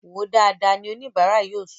Wòó dáadáa! ni oníbara náà yóò sọ